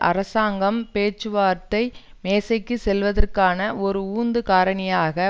அரசாங்கம் பேச்சுவார்த்தை மேசைக்கு செல்வதற்கான ஒரு உந்து காரணியாக